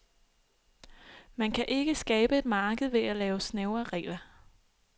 Man kan ikke skabe et marked ved at lave snævre regler.